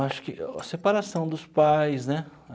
Acho que a separação dos pais, né?